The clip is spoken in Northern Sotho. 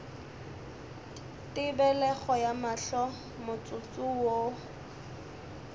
tebelego ya mahlo motsotso wo